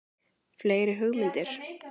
Fleiri hugmyndir?